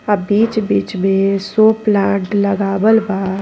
आ बिच-बिच बे शो प्लांट लगावल बा।